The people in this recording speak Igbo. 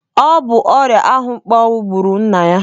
Ọ bụ ọrịa ahụmkpọnwụ gbụrụ nna ya.